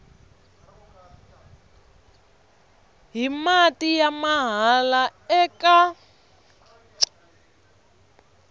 hi mati ya mahala eka